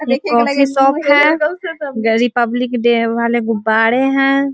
ये coffee shop है । Republic Day वाले गुब्बारे हैं ।